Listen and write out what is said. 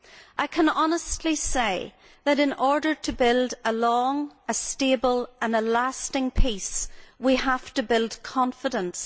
I can honestly say that in order to build a long, stable and lasting peace, we have to build confidence.